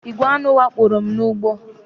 Igwè aṅụ wakporo m n'ugbo